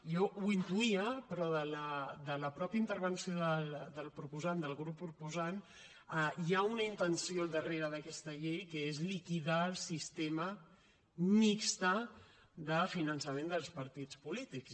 jo ho intuïa però de la mateixa intervenció del proposant del grup proposant hi ha una intenció al darrere d’aquesta llei que és liquidar el sistema mixt de finançament dels partits polítics